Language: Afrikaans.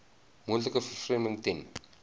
moontlike vervreemding ten